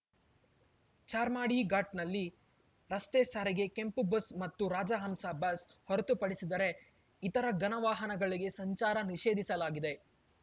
ಚಾರ್ಮಾಡಿ ಘಾಟ್‌ನಲ್ಲಿ ರಸ್ತೆ ಸಾರಿಗೆ ಕೆಂಪು ಬಸ್‌ ಮತ್ತು ರಾಜಹಂಸ ಬಸ್‌ ಹೊರತುಪಡಿಸಿದರೆ ಇತರ ಘನ ವಾಹನಗಳಿಗೆ ಸಂಚಾರ ನಿಷೇಧಿಸಲಾಗಿದೆ